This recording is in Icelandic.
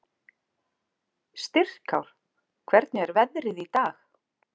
Styrkár, hvernig er veðrið í dag?